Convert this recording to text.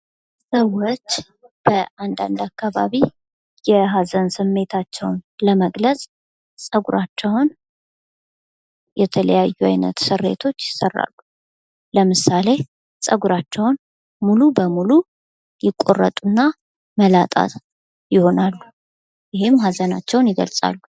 ሰዎች በአንድ አንድ አካባቢ የሀዘን ስሜታቸዉን ለመግለፅ ፀጉራቸዉን የተለያዩ አይነት ስሬቶች ይሰራሉ። ለምሳሌ ፀጉራቸዉን ሙሉ በሙሉ ይቆረጡና መላጣ ይሆናሉ። ይህም ሀዘናቸዉን ይገልፃሉ።